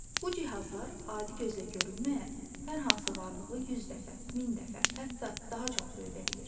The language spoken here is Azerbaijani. Bu cihazlar adi gözlə görünməyən hər hansı varlığı 100 dəfə, 1000 dəfə, hətta daha çox böyüdə bilir.